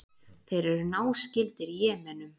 Þeir eru náskyldir Jemenum.